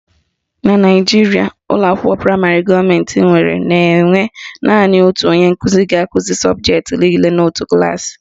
Na Naijiria, ụlọakwụkwọ praịmarị gọọmentị nwere na-enwe naanị otu onye nkụzi ga-akụzi sọbụjetị niile n'otu klaasị